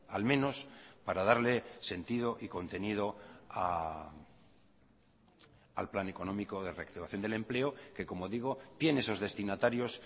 al menos para darle sentido y contenido al plan económico de reactivación del empleo que como digo tiene esos destinatarios